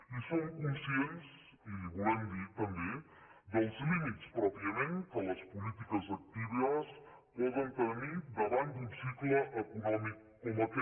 i som conscients i li ho volem dir també dels límits pròpiament que les polítiques actives poden tenir da·vant d’un cicle econòmic com aquest